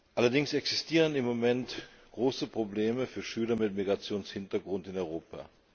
Allerdings existieren im Moment große Probleme für Schüler mit Migrationshintergrund in Europa.